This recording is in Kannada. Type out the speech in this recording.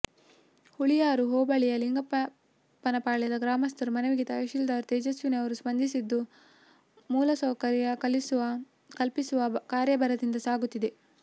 ಹುಳಿಯಾರು ಹೋಬಳಿಯ ಲಿಂಗಪ್ಪನಪಾಳ್ಯದ ಗ್ರಾಮಸ್ಥರ ಮನವಿಗೆ ತಹಶೀಲ್ದಾರ್ ತೇಜಸ್ವಿನಿ ಅವರು ಸ್ಪಂಧಿಸಿದ್ದು ಮೂಲಸೌಕರ್ಯ ಕಲ್ಪಿಸುವ ಕಾರ್ಯ ಭರದಿಂದ ಸಾಕುತ್ತಿದೆ